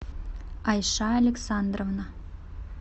айша александровна